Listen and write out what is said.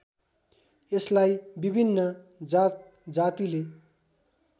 यसलाई विभिन्न जातजातिले